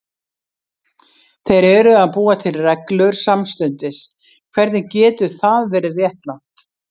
Þeir eru að búa til reglur samstundis, hvernig getur það verið réttlátt?